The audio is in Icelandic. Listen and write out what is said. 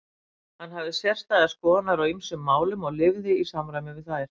Hann hafði sérstæðar skoðanir á ýmsum málum og lifði í samræmi við þær.